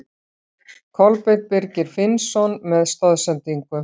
Kolbeinn Birgir Finnsson með stoðsendingu.